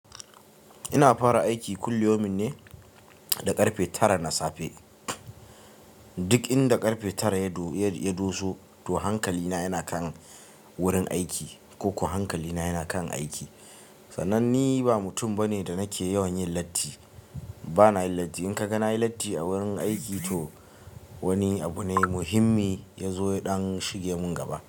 Ina fara aiki kullayomi ne da ƙarfe tara na safe. Duk inda ƙarfe tara ya du yad-- ya doso, to hankali na yana kan wurin aiki ko ko hankali na yana kan aiki. Sanan ni ba mutum bane da nake yawan yin latti. Ba na yin latti. In ka ga na yi latti a wurin aiki, to wani abu ne muhimmi ya zo ya dan shige mun gaba.